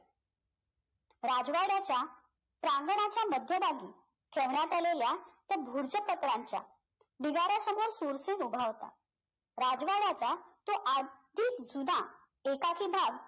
राजवाड्याच्या प्रांगणाच्या मध्यभागी आलेल्या त्या ढिगाऱ्यासमोर सुरसेन उभा होता राजवाड्याच्या तो आधिक जुना एकाकी भाग